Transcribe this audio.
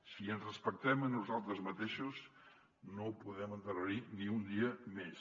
si ens respectem a nosaltres mateixos no ho podem endarrerir ni un dia més